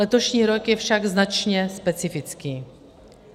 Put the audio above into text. Letošní rok je však značně specifický.